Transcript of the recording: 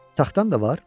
Taxtan da var?